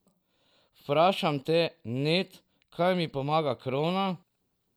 Vprašam te, Ned, kaj mi pomaga krona?